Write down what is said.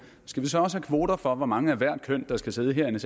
skal vi så også have kvoter for hvor mange af hvert køn der skal sidde herinde